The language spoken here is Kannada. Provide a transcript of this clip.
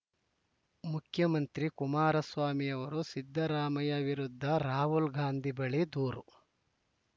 ಮುಖ್ಯಮಂತ್ರಿ ಕುಮಾರಸ್ವಾಮಿ ಅವರು ಸಿದ್ದರಾಮಯ್ಯ ವಿರುದ್ಧ ರಾಹುಲ ಗಾಂಧಿ ಬಳಿ ದೂರು